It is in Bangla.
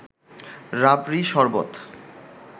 রাবড়ি, শরবত